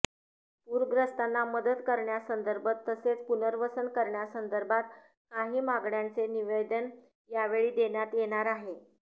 पूरग्रस्तांना मदत करण्यासंदर्भात तसेच पुनर्वसन करण्यासंदर्भात काही मागण्यांचे निवेदन यावेळी देण्यात येणार आहे